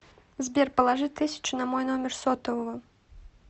сбер положи тысячу на мой номер сотового